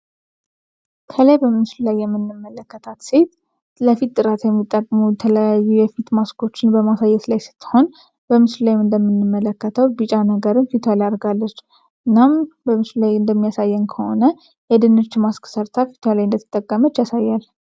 ከላይ በምሱል ላይ የምንመለከታት ሴት ለፊት ጥራት የሚጠቅሙ ተለያዩ የፊት ማስኮችን በማሳየስ ላይ ስትሆን በምሱል ላይም እንደሚንመለከተው ቢጫ ነገርን ፊቶያ ላይ አርጋለች እናም በምሱል ላይ እንደሚያሳየን ከሆነ የድንች ማስክ ሠርታ ፊቶላይ እንደትጠገመች ያሳያል